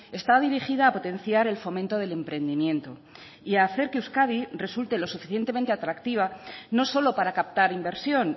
está dirigida a potenciar el fomento del emprendimiento y a hacer que euskadi resulte lo suficientemente atractiva no solo para captar inversión